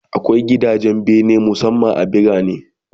Akwai gidajen bene musamman a birane